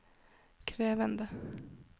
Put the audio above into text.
krevende